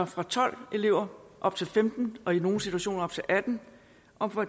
fra tolv elever op til femten og i nogle situationer op til atten og fra